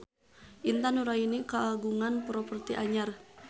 Intan Nuraini kagungan properti anyar